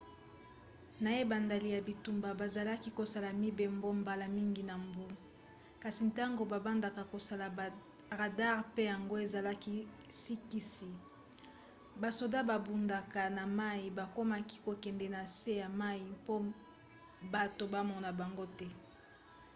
na ebandeli ya bitumba bazalaki kosala mibembo mbala mingi na mbu kasi ntango babandaka kosala baradare pe yango ezalaki sikisiki basoda babundaka na mai bakomaki kokende na se ya mai mpo bato bamona bango te